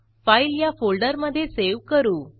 file या फोल्डरमधे save करू